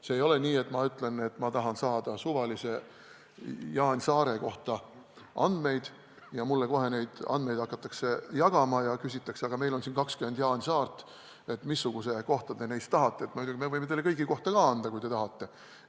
See ei ole nii, et ma ütlen, et ma tahan saada suvalise Jaan Saare andmeid ja mulle hakatakse kohe neid jagama, küsitakse veel, et meil on siin 20 Jaan Saart, missuguse kohta neist te tahate, me võime teile kõigi kohta ka anda, kui te tahate.